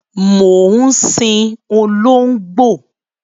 Mo ń sìn olóngbó